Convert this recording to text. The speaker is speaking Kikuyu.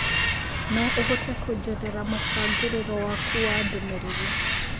no ũhote kũjerethera mũbangĩriro wakũ wa ndũmĩrĩri